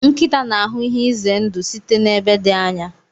nkịta n'ahụ ihe ize ndụ site n'ebe dị anya.